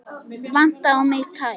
Vantaði á mig tær?